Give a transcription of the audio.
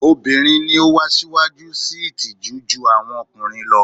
Obirin ni o wa siwaju sii itiju ju awọn ọkunrin lo